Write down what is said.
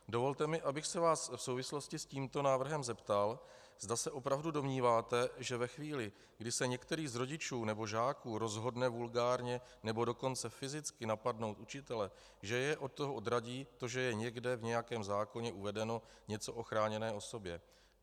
Dovolte mi, abych se vás v souvislosti s tímto návrhem zeptal, zda se opravdu domníváte, že ve chvíli, kdy se některý z rodičů nebo žáků rozhodne vulgárně, nebo dokonce fyzicky napadnout učitele, že je od toho odradí to, že je někde v nějakém zákoně uvedeno něco o chráněné osobě.